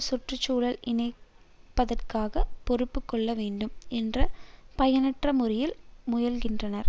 சுற்று சூழல் இணக்கத்திற்கு பொறுப்பு கொள்ள வேண்டும் என்ற பயனற்ற முறையில் முயல்கின்றனர்